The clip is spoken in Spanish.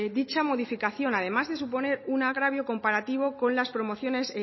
dicha modificación además de suponer un agravio comparativo con las promociones